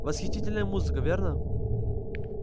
восхитительная музыка верно